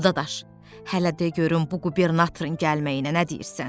Alı dadaş, hələ de görüm bu qubernatorun gəlməyinə nə deyirsən?